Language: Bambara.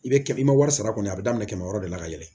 I bɛ kɛ i ma wari sara kɔni a bɛ daminɛ kɛmɛ wɔɔrɔ la ka yɛlɛ